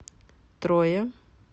троя